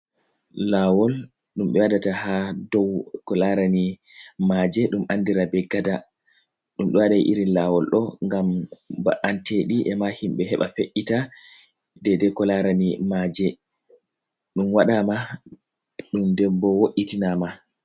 Laawol ɗum ɓe waɗata haa dow ko laarani maaje .Ɗum anndira be gada ɗum ɗo waɗa iri laawol ɗo, ngam ba’anteɗi e ma himɓe heɓa fe’’ita deydey ko laarani maaje ɗum waɗaama ɗum dembo wo’itinaama.